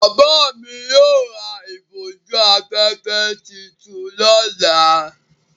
Bàbá mi yóò ra ìbòjú-afẹ́fẹ́ tuntun lọ́la.